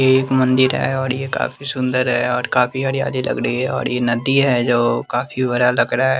ये एक मंदिर है और ये काफी सुंदर है और काफी हरयाली लग रही है और ये नदी है जो काफी बड़ा लग रहा --